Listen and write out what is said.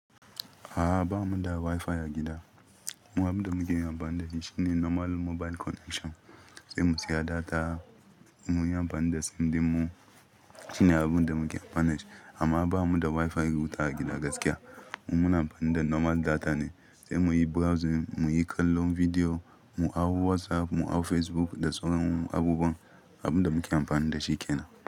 A'a ba mu da Wi-Fi a gida. Mu abin da muke amfani da shi shine normal mobile connection, sai mu saya data, mu yi amfani da sim dinmu. Shi ne abin da muke amfani da shi amma ba mu da Wi-Fi wuta a gida gaskiya. Mu muna amfani da normal data ne, sai muyi browsing, muyi kallon bidiyo, mu hau WhatsApp, mu hau Facebook da sauran abubuwan, abin da muke amfani da shi kenan.